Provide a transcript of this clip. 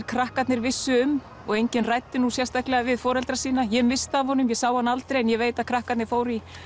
krakkarnir vissu um og enginn ræddi nú sérstaklega við foreldra sína ég missti af honum ég sá hann aldrei en ég veit að krakkarnir fóru í